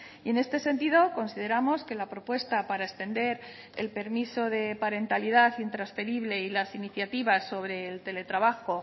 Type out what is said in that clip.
y en este sentido consideramos que la propuesta para extender el permiso de parentalidad intransferible y las iniciativas sobre el teletrabajo